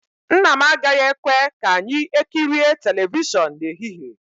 Nna m agaghị ekwe ka anyị ekirie telivishọn n'ehihie